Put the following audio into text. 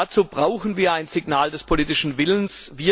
Dazu brauchen wir ein Signal des politischen Willens.